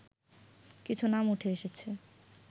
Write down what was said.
কিছু নাম উঠে এসেছে